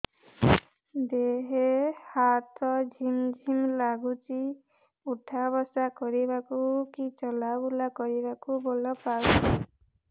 ଦେହେ ହାତ ଝିମ୍ ଝିମ୍ ଲାଗୁଚି ଉଠା ବସା କରିବାକୁ କି ଚଲା ବୁଲା କରିବାକୁ ବଳ ପାଉନି